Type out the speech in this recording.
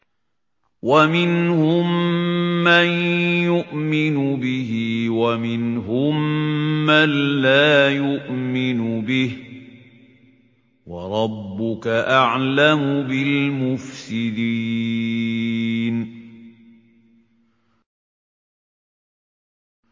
وَمِنْهُم مَّن يُؤْمِنُ بِهِ وَمِنْهُم مَّن لَّا يُؤْمِنُ بِهِ ۚ وَرَبُّكَ أَعْلَمُ بِالْمُفْسِدِينَ